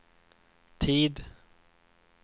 tid